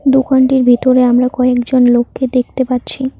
দোকানটির ভেতরে আমরা কয়েকজন লোককে দেখতে পাচ্ছি।